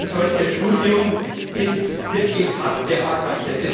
Ein solches Studium ist wirklich harte Arbeit.